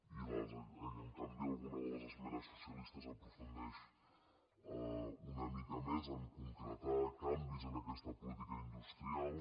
i en canvi alguna de les esmenes socialistes aprofundeix una mica més a concretar canvis en aquesta política industrial